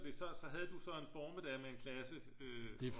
Det så så havde du så en formiddag med en klasse